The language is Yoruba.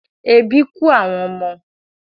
Ebi kú àwọn ọmọ